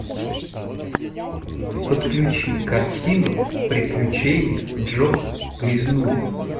подключи картину приключения джо грязнули